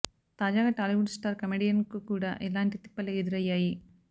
తాజాగా Tollywood star comedian కు కూడా ఇలాంటి తిప్పలే ఎదురయ్యాయి